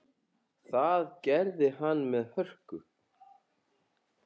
Það gerði hann með hörku.